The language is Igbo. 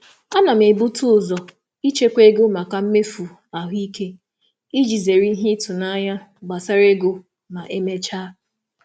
M M na-ebute ụzọ um ichekwa maka mmefu um nlekọta ahụike iji zere mmechuihu ego n'ikpeazụ.